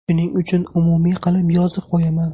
Shuning uchun umumiy qilib yozib qo‘yaman.